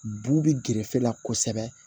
Bu bɛ gerefe la kosɛbɛ